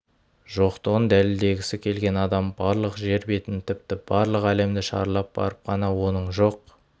жоқтығын дәлелдегісі келген адам барлық жер бетін тіпті барлық әлемді шарлап барып қана оның жоқ